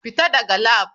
Fita daga lab.